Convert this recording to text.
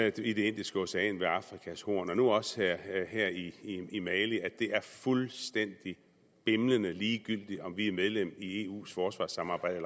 i det indiske ocean ved afrikas horn og nu også her i i mali at det er fuldstændig bimlende ligegyldigt om vi er medlem af eus forsvarssamarbejde